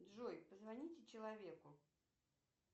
джой позвоните человеку